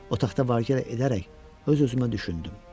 Otaqda var-gəl edərək, öz-özümə düşündüm.